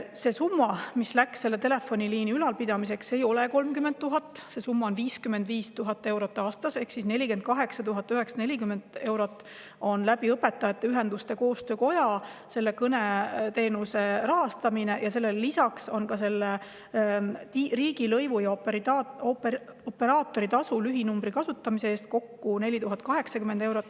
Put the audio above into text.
See summa, mis on läinud selle telefoniliini ülalpidamiseks, ei ole 30 000, see summa on 55 000 eurot aastas: 48 940 eurot Õpetajate Ühenduste Koostöökoja kaudu kõneteenuse rahastamiseks ja lisaks sellele riigilõiv ja operaatoritasu lühinumbri kasutamise eest kokku 4080 eurot.